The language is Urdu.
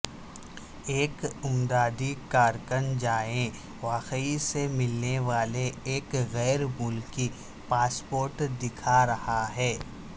ایک امدادی کارکن جائے وقوع سے ملنے والے ایک غیر ملکی پاسپورٹ دکھا رہا ہے